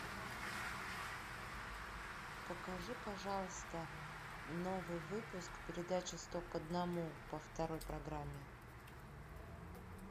покажи пожалуйста новый выпуск передачи сто к одному по второй программе